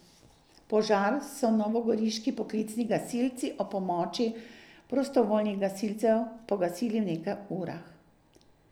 Požar so novogoriški poklicni gasilci ob pomoči prostovljnih gasilcev pogasili v nekaj urah.